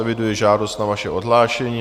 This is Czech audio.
Eviduji žádost na vaše odhlášení.